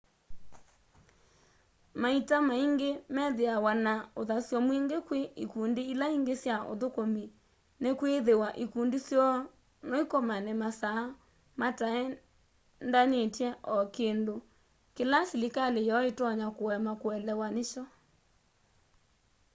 maita maingi methiawa na uthasyo mwingi kwi ikundi ila ingi sya uthukumi nikwithiwa ikundi syoo no ikomane masaa mataendanitye o kindu kila silikali yoo itonya kuema kuelewa nikyo